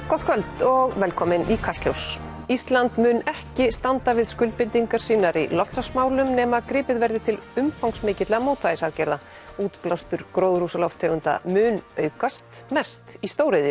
gott kvöld og velkomin í Kastljós ísland mun ekki standa við skuldbindingar sínar í loftslagsmálum nema gripið verði til umfangsmikilla mótvægisaðgerða útblástur gróðurhúsalofttegunda mun aukast mest í stóriðju